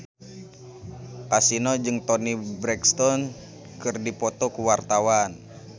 Kasino jeung Toni Brexton keur dipoto ku wartawan